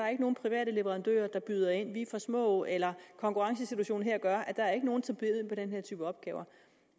er nogen private leverandører der byder ind at vi er for små eller at konkurrencesituationen gør at der ikke er nogen som byder ind på den her type opgaver